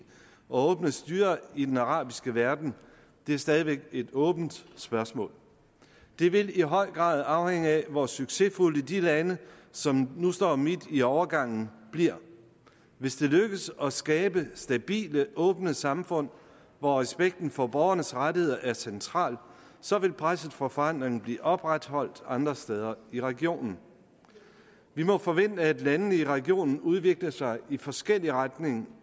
og åbne styrer i den arabiske verden er stadig væk et åbent spørgsmål det vil i høj grad afhænge af hvor succesfulde de lande som nu står midt i overgangen bliver hvis det lykkes at skabe stabile åbne samfund hvor respekten for borgernes rettigheder er central så vil presset for forandring blive opretholdt andre steder i regionen vi må forvente at landene i regionen udvikler sig i forskellige retninger